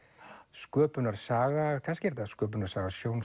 sköpunarsaga kannski er þetta sköpunarsaga